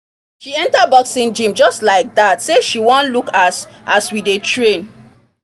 she enter boxing gym just like that say she wan look as as we dey train